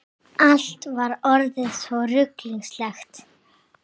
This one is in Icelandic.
Allt var orðið svo ruglingslegt.